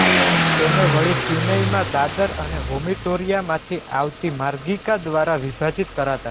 તેને વળી ક્યુનેઈમાં દાદર અને વોમિટોરીયામાંથી આવતી માર્ગિકા દ્વારા વિભાજીત કરાતા